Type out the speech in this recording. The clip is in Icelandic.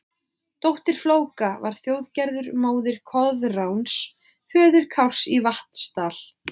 Dóttir Flóka var Þjóðgerður, móðir Koðráns, föður Kárs í Vatnsdal.